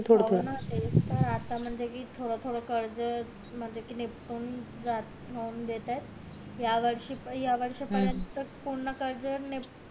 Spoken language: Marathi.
हो ना तेच तर आता म्हणजे कि थोडं थोडं कर्ज म्हणजे कि निपटून जात देतायत या वर्षी पर्यंत पूर्ण कर्ज निपटून